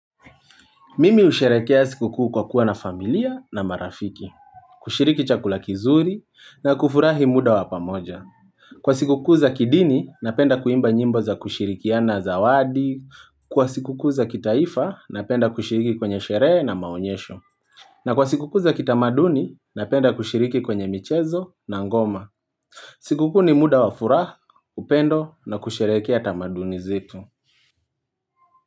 Mimi husherehekea sikukuu kwa kuwa na familia na marafiki, kushiriki chakula kizuri na kufurahi muda wa pamoja. Kwa sikukuu za kidini, napenda kuimba nyimbo za kushirikiana zawadi, kwa sikukuu za kitaifa, napenda kushiriki kwenye sherehe na maonyesho. Na kwa sikukuu za kitamaduni, napenda kushiriki kwenye michezo na ngoma. Sikukuu ni muda wa furaha, upendo na kusherehekea tamaduni zetu.